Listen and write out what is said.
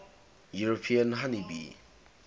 european honey bee